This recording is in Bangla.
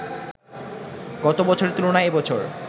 গত বছরের তুলনায় এ বছর